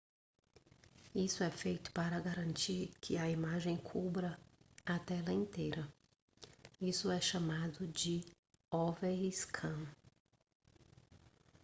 isso é feito para garantir que a imagem cubra a tela inteira isso é chamado de overscan